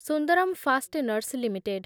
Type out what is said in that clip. Sundaram fasteners limited